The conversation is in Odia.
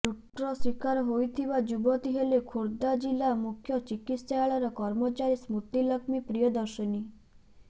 ଲୁଟ୍ର ଶିକାର ହୋଇଥିବା ଯୁବତୀ ହେଲେ ଖୋର୍ଧା ଜିଲ୍ଲା ମୁଖ୍ୟ ଚିକିତ୍ସାଳୟର କର୍ମଚାରୀ ସ୍ମୃତିଲକ୍ଷ୍ମୀ ପ୍ରିୟଦର୍ଶିନୀ